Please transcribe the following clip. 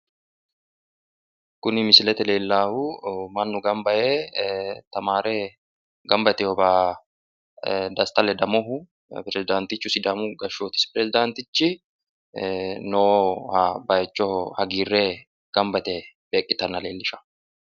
Kuni misilete leellallahu mannu gamba yee tamaare gamba yiteyowa desta ledamohu peerisidaantichu sidaamu gashshooti peerisidaantinchi noowa bayichoho hagiirre gamba yite beeqqitanna leellisha.